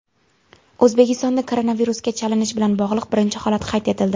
O‘zbekistonda koronavirusga chalinish bilan bog‘liq birinchi holat qayd etildi.